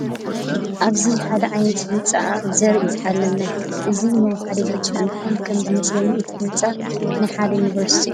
ኣብዚ ሓደ ዓይነት ህንፃ ንርኢ ኣለና እዚ ናይ ሓደ ድርጅት እንትኮን ከም ዝመስለኒ እቲ ህንፃ ናይ ሓደ ዩኒቨርስቲ እዩ ።